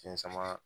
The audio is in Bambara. Fiɲɛ sama